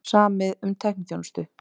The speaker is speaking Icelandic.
Samið um tækniþjónustu